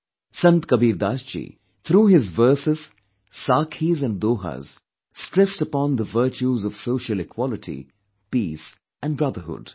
Sant Kabir Das ji, through his verses 'Saakhis' and 'Dohas' stressed upon the virtues of social equality, peace and brotherhood